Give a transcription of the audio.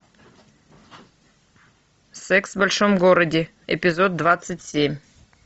секс в большом городе эпизод двадцать семь